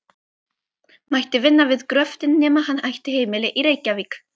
mætti vinna við gröftinn nema hann ætti heimili í Reykjavík.